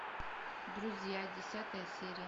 друзья десятая серия